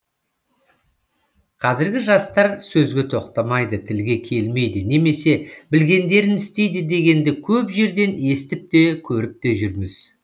қазіргі жастар сөзге тоқтамайды тілге келмейді немесе білгендерін істейді дегенді көп жерден естіп те көріп те жүрміз